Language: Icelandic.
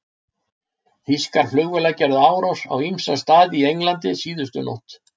Þýskar flugvélar gerðu árásir á ýmsa staði í Englandi síðustu nótt.